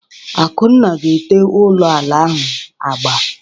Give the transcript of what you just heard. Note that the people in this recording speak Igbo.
Akunna ga ete ụlọ ala ahụ agba.